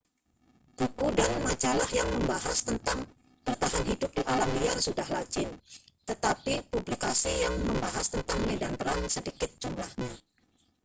buku dan majalah yang membahas tentang bertahan hidup di alam liar sudah lazim tetapi publikasi yang membahas tentang medan perang sedikit jumlahnya